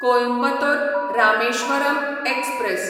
Coimbatore Rameswaram express